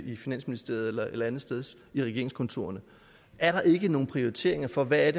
i finansministeriet eller andetsteds i regeringskontorerne er der ikke nogen prioriteringer for hvad